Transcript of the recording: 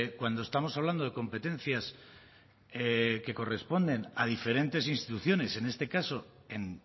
cuando estamos hablando de competencias que corresponden a diferentes instituciones en este caso en